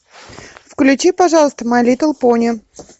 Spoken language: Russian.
включи пожалуйста май литл пони